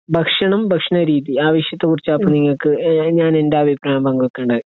ഭക്ഷണം, ഭക്ഷണരീതി, ആ വിഷയത്തെക്കുറിച്ചാ അപ്പൊ നിങ്ങൾക്ക്, ഞാൻ എന്റെ അഭിപ്രായം പങ്കുവെക്കേണ്ടത്.